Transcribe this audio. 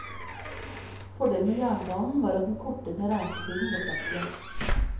Fordelen med jernbanen var at den kortet ned reisetiden betraktelig.